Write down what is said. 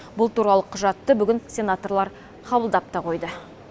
бұл туралы құжатты бүгін сенаторлар қабылдап та қойды